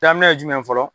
Daminɛ ye jumɛn ye fɔlɔ